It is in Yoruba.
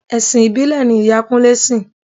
Ẹ̀sìn ìbílẹ̀ ni ìyá Kúnlẹ́ sìn.